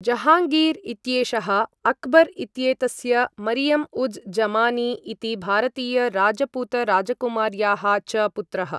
जहाँगीर् इत्येषः, अकबर्, इत्येतस्य, मरियम उज् जमानी इति भारतीय राजपूत राजकुमार्याः च पुत्रः।